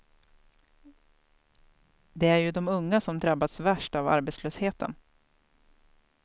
Det är ju de unga som drabbats värst av arbetslösheten.